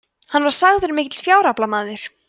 hann var sagður mikill fjáraflamaður